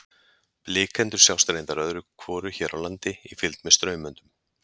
Blikendur sjást reyndar öðru hvoru hér á landi í fylgd með straumöndum.